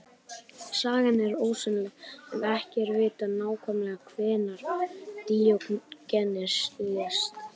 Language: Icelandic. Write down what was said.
Sagan er ósennileg en ekki er vitað nákvæmlega hvenær Díógenes lést.